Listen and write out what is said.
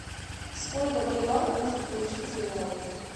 сколько боливаров можно получить за реалы